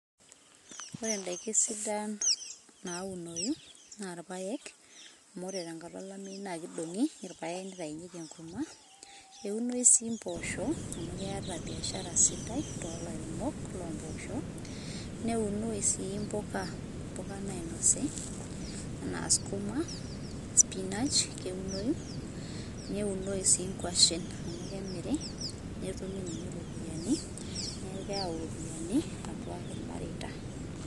ore indaiki sidan naunoyu na ilpaek amu ore tenkata olameyu na kidongi ilpaek nitainyieki enkurma eunoyu si imposho, amu keeta biashara sidai tolairemok lo mbosho neunoyu si impuka nainosi ena sukuma, spinach ,keunoyu neunoyu si ingwashen amu kemiri netumi ninye ropiani niaku keyau iropiani atua ilmareita,